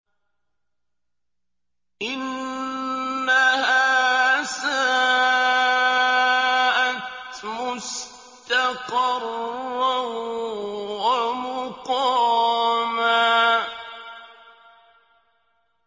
إِنَّهَا سَاءَتْ مُسْتَقَرًّا وَمُقَامًا